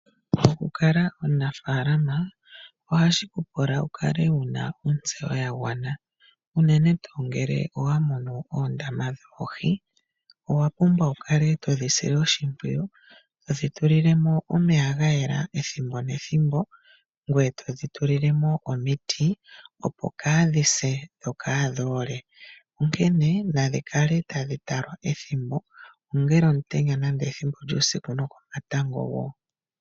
Okukala omunafaalama ohashi ku pula wu kale wu na ontseyo ya gwana unene tuu ngele owa mono oondama dhoohi, owa pumbwa wu kale todhi sile oshimpwiyu to dhi tulile mo omeya ga yela ethimbo nethimbo, ngoye to dhi tulile mo omiti opo kadhi se dho kadhi ole. Onkene nadhi kale tadhi talwa ethimbo kehe, ongele ongula, komatango nenge uusiku.